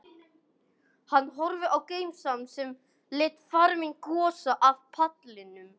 Hann horfði á Gemsann sem lét farminn gossa af pallinum.